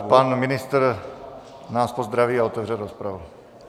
Tak pan ministr nás pozdraví a otevře rozpravu.